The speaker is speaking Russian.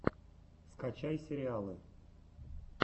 скачай сериалы